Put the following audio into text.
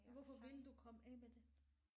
Hvorfor ville du komme af med det?